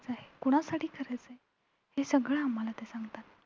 कुणासाठी करायचं आहे हे सगळं आम्हाला सांगतात.